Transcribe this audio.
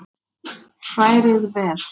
Hrærið vel.